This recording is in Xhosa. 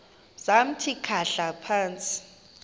samthi khahla phantsi